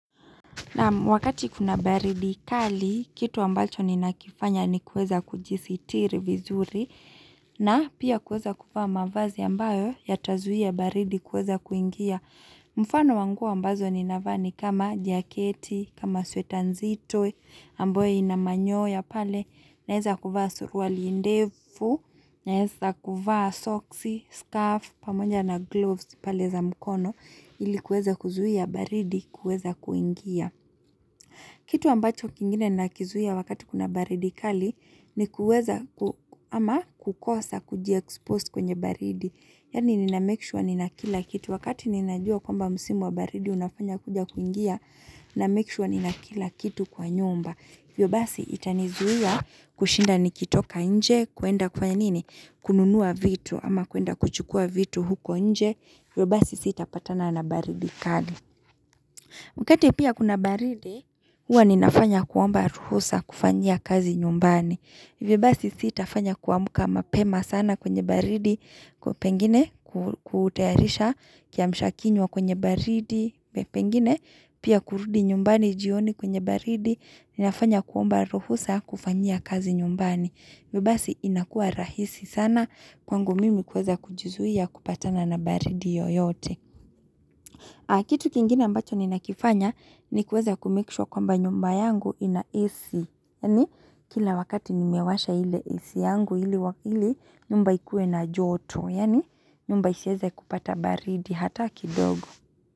Wakati kuna baridi kali, kitu ambacho ninakifanya ni kuweza kujisitiri vizuri na pia kuweza kuvaa mavazi ambayo yatazuia baridi kuweza kuingia. Mfano wa nguo ambazo ninavaa ni kama jaketi, kama sweta nzito, ambayo ina manyoya pale, naeza kuvaa suruwali ndefu, naeza kuvaa socks, scarf, pamoja na gloves pale za mkono ili kueza kuzuia baridi kueza kuingia. Kitu ambacho kingine nakizuia wakati kuna baridi kali ni kuweza ama kukosa kujiexpose kwenye baridi. Yani nina make sure ninakila kitu. Wakati ninajua kwamba musimu wa baridi unafanya kuja kuingia, ninamake sure nina kila kitu kwa nyumba. Hivyo basi itanizuia kushinda nikitoka nje, kuenda kufanya nini? Kununua vitu ama kuenda kuchukua vitu huko nje. Vyobasi sitapatana na baridi kali. Wakati pia kuna baridi, huwa ninafanya kuomba ruhusa kufanya kazi nyumbani. Hivyo basi sitafanya kuamka mapema sana kwenye baridi, pengine kutayarisha kiamsha kinywa kwenye baridi, pengine pia kurudi nyumbani jioni kwenye baridi, ninafanya kuomba ruhusa kufanyia kazi nyumbani. Hivyo basi inakua rahisi sana kwangu mimi kuweza kujizuia kupatana na baridi yoyote. Kitu kingine ambacho ninakifanya ni kuweza kumake sure kwamba nyumba yangu ina AC yani Kila wakati nimewasha ile AC yangu ili wakili nyumba ikue na joto yani. Nyumba isiweze kupata baridi hata kidogo.